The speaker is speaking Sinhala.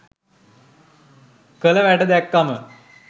කල වැඩ දැක්කම